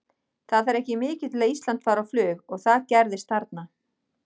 Það þarf ekki mikið til að Ísland fari á flug og það gerðist þarna.